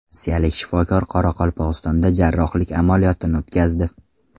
Rossiyalik shifokor Qoraqalpog‘istonda jarrohlik amaliyotini o‘tkazdi.